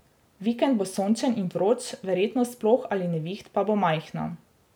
Vikend bo sončen in vroč, verjetnost ploh ali neviht pa bo majhna.